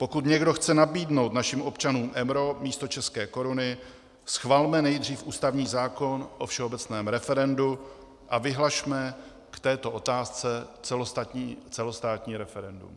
Pokud někdo chce nabídnout našim občanům euro místo české koruny, schvalme nejdřív ústavní zákon o všeobecném referendu a vyhlašme k této otázce celostátní referendum.